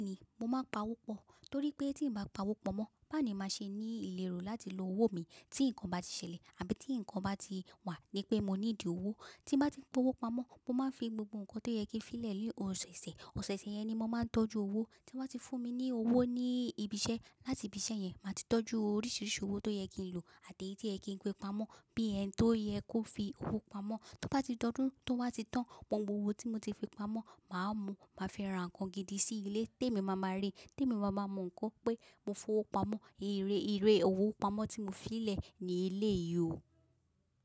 Bẹ́ẹ̀ni, mo máa ń pa owó pọ̀ torí pé tí n bá pa owó pamọ́, bá ni máa ṣe ní ìlérò láti lo owó mi tí nǹkan bá ti ṣẹlẹ̀ àbí tí nǹkan bá ti wà ní pé mo need owó. Tí n bá ti ń pa owó pamọ́, mo máa ń fi gbogbo nǹkan tó yẹ kí n fi lẹ̀ ní ọ̀sẹ̀ẹ̀sẹ̀. Òṣẹ̀ẹ̀sẹ̀ yẹn ni mo máa ń tọ́jú owó tí wọ́n bá ti fún mi ní owó ní ibi iṣẹ́. Láti ibi iṣẹ́ yẹn, màá ti tọ́jú oríṣìíríṣìí owó tó yẹ kí n lò àti èyí tí ẹ kí n gbé pamọ́ bí ẹni tó yẹ kó fi owó pamọ́. Tí ó bá ti dọdún tó wá ti tán, gbogbo owó tí mo ti fi pamọ́, màá mú, màá fi ra nǹkan gidi sí ilé té mi máa ma rí, té mi máa ma mọ̀ nǹkan pé mo fowó pamọ́. Eré, eré owó pamọ́ tí mo fi lẹ̀ ní eléyìí o.